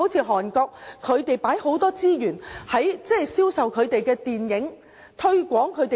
韓國投放很多資源來銷售電影及推廣食品。